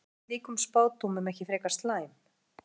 Er reynslan af slíkum spádómum ekki frekar slæm?